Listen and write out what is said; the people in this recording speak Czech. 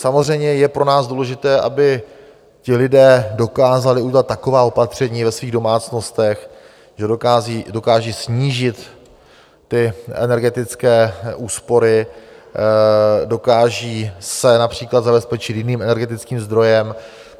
Samozřejmě je pro nás důležité, aby ti lidé dokázali udělat taková opatření ve svých domácnostech, že dokážou snížit (?) ty energetické úspory, dokážou se například zabezpečit jiným energetickým zdrojem.